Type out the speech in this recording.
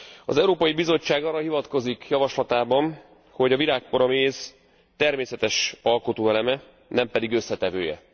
Az Európai Bizottság arra hivatkozik javaslatában, hogy a virágpor a méz természetes alkotóeleme, nem pedig összetevője.